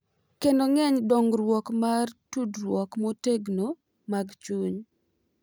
Kendo geng’ dongruok mar tudruok motegno mag chuny.